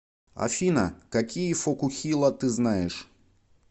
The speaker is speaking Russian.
афина какие фокухила ты знаешь